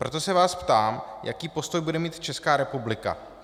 Proto se vás ptám, jaký postoj bude mít Česká republika.